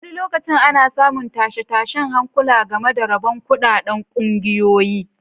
Wani lokaci ana samun tashe-tashen hankula game da rabon kuɗaɗen ƙungiyoyi.